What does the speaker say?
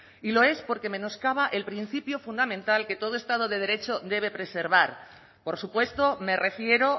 y lo es porque menoscaba el principio fundamental que todo estado de derecho debe preservar por supuesto me refiero